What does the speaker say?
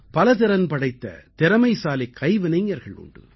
பல திறன் படைத்த திறமைசாலிக் கைவினைஞர்கள் உண்டு